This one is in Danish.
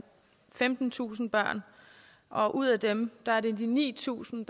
femtentusind børn og ud af dem er ni tusind